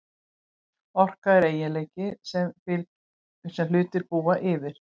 Orka er eiginleiki sem hlutir búa yfir.